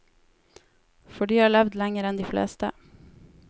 For de har levd lenger enn de fleste.